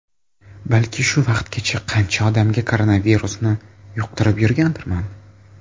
Balki shu vaqtgacha qancha odamga koronavirusni yuqtirib yurgandirman?